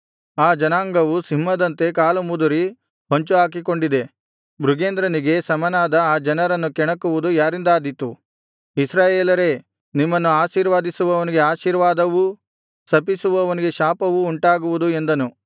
ಆ ಜನಾಂಗವು ಸಿಂಹದಂತೆ ಕಾಲುಮುದುರಿ ಹೊಂಚುಹಾಕಿಕೊಂಡಿದೆ ಮೃಗೇಂದ್ರನಿಗೆ ಸಮನಾದ ಆ ಜನರನ್ನು ಕೆಣಕುವುದು ಯಾರಿಂದಾದೀತು ಇಸ್ರಾಯೇಲರೇ ನಿಮ್ಮನ್ನು ಆಶೀರ್ವದಿಸುವವನಿಗೆ ಆಶೀರ್ವಾದವೂ ಶಪಿಸುವವನಿಗೆ ಶಾಪವೂ ಉಂಟಾಗುವುದು ಎಂದನು